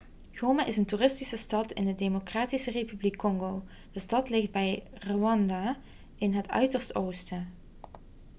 goma is een toeristische stad in de democratische republiek congo de stad ligt bij rwanda in het uiterste oosten